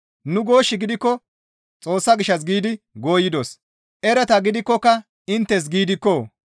Nu goosh gidikko Xoossa gishshas giidi gooyidos; erata gidikkoka inttes giidikko!